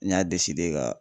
N y'a deside ka